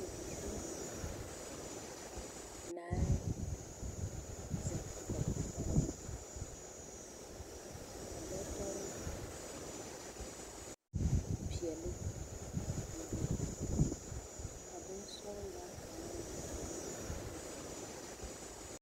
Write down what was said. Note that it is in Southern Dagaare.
Bibiiri naŋ zeŋ kɔge taaba ka bɔtɔre peɛle biŋ be, ka bonsɔgelaa kaŋa meŋ a biŋaa be.